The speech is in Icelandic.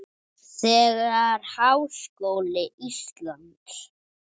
Þegar Háskóli Íslands